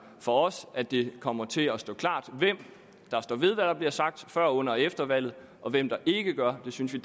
for os at det kommer til at stå klart hvem der står ved hvad der blev sagt før under og efter valget og hvem der ikke gør det synes vi